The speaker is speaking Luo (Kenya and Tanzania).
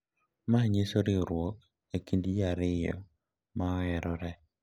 ma nyiso riwruok e kind ji ariyo ma oherore.